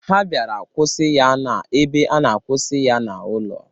Ha bịara kwụsị ya n'ebe a na-akwụsị ya n'ụlọ.